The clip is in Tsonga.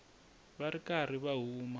va ri karhi va huma